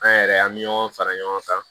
An yɛrɛ an bɛ ɲɔgɔn fara ɲɔgɔn kan